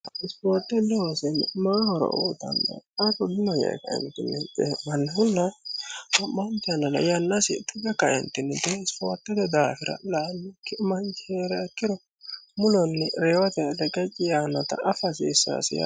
isfoortte loosa maayi horo uuyiitanno qaru dino yee ka"eentinni cee'mannohunna wo'maante yannara yannasi tuge ka"eentinni isfoortete daafira la"annokki manchi heeriha ikkiro mulenni reyote reqecci yaannota afa hasiissaasi yaate